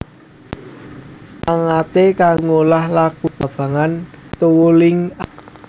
Mupangaté kanggo ngolah lakuné metabolisme ing babagan tuwuhing awak